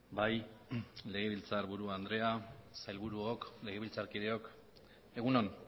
bai legebiltzarburu andrea sailburuok legebiltzarkideok egun on